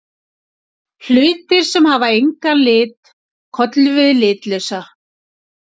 Hlutir sem hafa engan lit köllum við litlausa.